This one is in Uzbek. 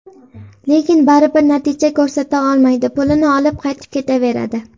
Lekin baribir natija ko‘rsata olmaydi, pulini olib, qaytib ketaveradi.